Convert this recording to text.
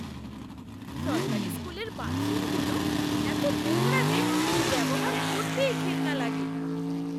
সরকারি স্কুলের বাথরুমগুলো এত নোংরা যে ব্যবহার করতেই ঘেন্না লাগে।